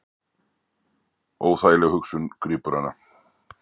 Óþægileg hugsun grípur hana.